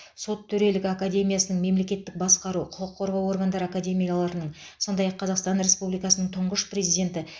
сот төрелігі академиясының мемлекеттік басқару құқық қорғау органдары академияларының сондай ақ қазақстан республикасының тұңғыш президенті